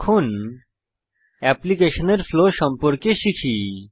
এখন অ্যাপ্লিকেশনের ফ্লো সম্পর্কে শিখি